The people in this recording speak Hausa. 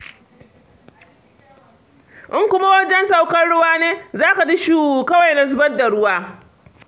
In kuma wajen saukar ruwa ne, za ka ji shu kawai na zubar ruwa.